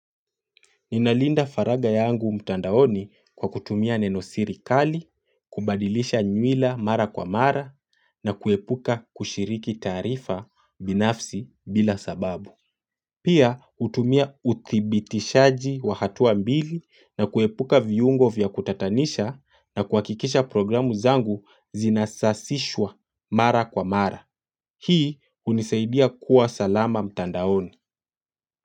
Ninalinda faraga yangu mtandaoni kwa kutumia nenosiri kali, kubadilisha nywila mara kwa mara na kuepuka kushiriki taarifa binafsi bila sababu. Pia hutumia uthibitishaji wa hatua mbili na kuepuka viungo vya kutatanisha na kuhakikisha programu zangu zinasasishwa mara kwa mara. Hii unisaidia kuwa salama mtandaoni.